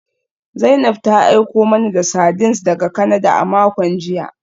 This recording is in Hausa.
Zainab ta aiko mana da sardines daga Canada a makon jiya